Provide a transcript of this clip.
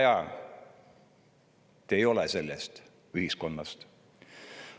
Te ei ole sellest ühiskonnast.